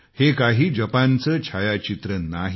हे काही जपानचे छायाचित्र नाही